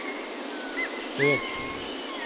øk